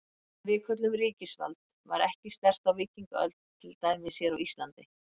Það sem við köllum ríkisvald var ekki sterkt á víkingaöld, til dæmis hér á Íslandi.